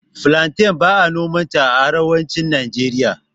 Filanten ba'a nomanta a Arewacin Najeriya.